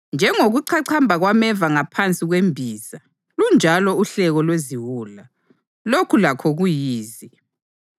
Njengokuchachamba kwameva ngaphansi kwembiza, lunjalo uhleko lweziwula. Lokhu lakho kuyize.